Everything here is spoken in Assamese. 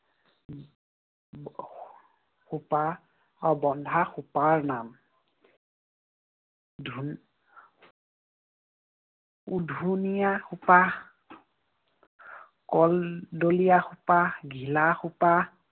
খোপা, অ বন্ধা খোপাৰ নাম। ধু উধুনিয়া খোপা, কলডলিয়া খোপা, ঘিলা খোপা।